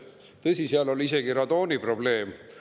Tõsi, seal oli isegi radooniprobleem.